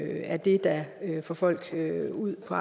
er det der får folk ud på